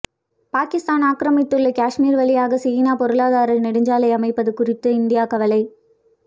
பாகிஸ்தான் ஆக்கிரமித்துள்ள காஷ்மீர் வழியாக சீனா பொருளாதார நெடுஞ்சாலை அமைப்பது குறித்து இந்தியா கவலை